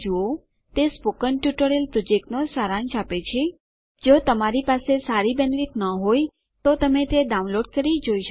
તે spoken tutorial પ્રોજેક્ટનો સારાંશ આપે છે જો તમારી પાસે સારી બેન્ડવિડ્થ ન હોય તો તમે તે ડાઉનલોડ કરીને જોઈ શકો છો